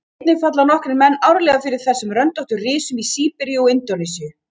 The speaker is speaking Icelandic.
einnig falla nokkrir menn árlega fyrir þessum röndóttu risum í síberíu og indónesíu